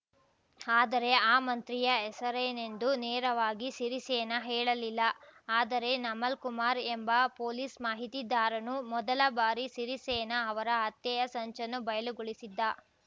ಆದರೆ ಆ ಮಂತ್ರಿಯ ಹೆಸರೇನೆಂದು ನೇರವಾಗಿ ಸಿರಿಸೇನ ಹೇಳಲಿಲ್ಲ ಆದರೆ ನಮಲ್‌ ಕುಮಾರ್ ಎಂಬ ಪೊಲೀಸ್‌ ಮಾಹಿತಿದಾರನು ಮೊದಲ ಬಾರಿ ಸಿರಿಸೇನ ಅವರ ಹತ್ಯೆಯ ಸಂಚನ್ನು ಬಯಲುಗೊಳಿಸಿದ್ದ